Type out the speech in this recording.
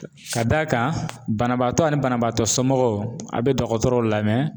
Ka d'a kan banabaatɔ ani banabaatɔ somɔgɔw a be dɔkɔtɔrɔw lamɛn